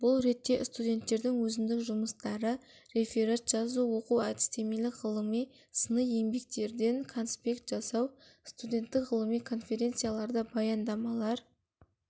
бұл ретте студенттердің өзіндік жұмыстары реферат жазу оқу-әдістемелік ғылыми сыни еңбектерден конспект жасау студенттік ғылыми конференцияларда баяндамалар